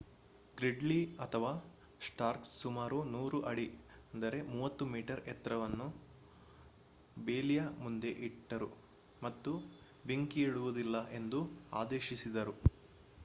ಗ್ರಿಡ್ಲಿ ಅಥವಾ ಸ್ಟಾರ್ಕ್ ಸುಮಾರು 100 ಅಡಿ 30 ಮೀ ಎತ್ತರವನ್ನು ಬೇಲಿಯ ಮುಂದೆ ಇಟ್ಟರು ಮತ್ತು ಬೆಂಕಿಯಿಡುವುದಿಲ್ಲ ಎಂದು ಆದೇಶಿಸಿದರು